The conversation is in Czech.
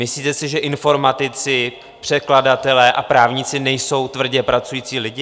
Myslíte si, že informatici, překladatelé a právníci nejsou tvrdě pracující lidi?